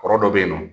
Kɔrɔ dɔ bɛ yen nɔ